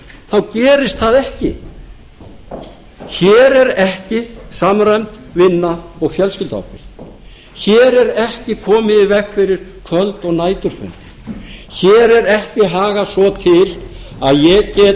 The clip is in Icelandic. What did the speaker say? þá gerist það ekki hér er ekki samræmd vinna og fjölskylduábyrgð hér er ekki komið í veg fyrir kvöld og næturfundi hér er ekki hagað svo til að ég